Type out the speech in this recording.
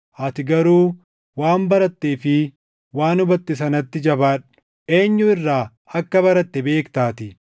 Ati garuu waan barattee fi waan hubatte sanatti jabaadhu; eenyu irraa akka baratte beektaatii;